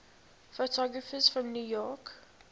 photographers from new york